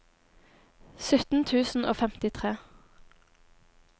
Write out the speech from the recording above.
sytten tusen og femtitre